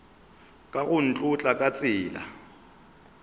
ka go nkotla ka tsela